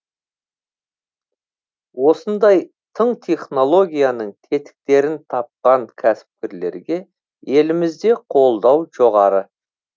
осындай тың технологияның тетіктерін тапқан кәсіпкерлерге елімізде қолдау жоғары